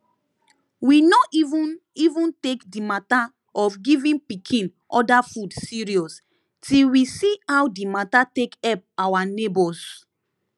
we no even even take the matter of giving pikin other food serious till we see how the matter take help our neighbors